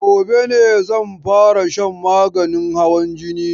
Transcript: Gobe ne zan fara shan maganin hawan jinin